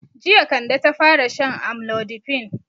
Jiya Kande ta fara shan amlodipine.